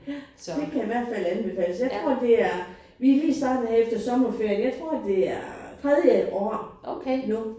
Ja det kan i hvert fald anbefales. Jeg tror det er vi lige startet her efter sommerferien jeg tror det er tredje år nu vi læser